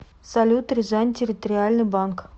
салют рязань территориальный банк